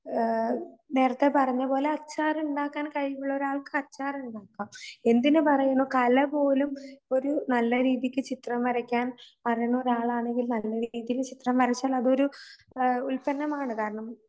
ആഹ് നേരത്തെ പറഞ്ഞപോലെ അച്ചാറുണ്ടാക്കാൻ കഴിവുള്ളരാൾക്ക് അച്ചാർ ഉണ്ടാക്കാം. എന്തിനുപറയുന്നു കല പോലും ഒരു നല്ലരീതിക്ക് ചിത്രം വരക്കാൻ അറിയുന്നൊരാളാണെങ്കിൽ നല്ലൊരു രീതിയിൽ ചിത്രം വരച്ചാൽ അതൊരു അഹ് ഉൽപ്പന്നമാണ്. കാരണം